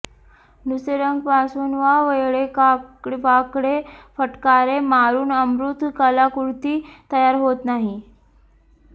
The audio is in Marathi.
नुसते रंग पासून वा वेडेवाकडे फटकारे मारून अमूर्त कलाकृती तयार होत नाही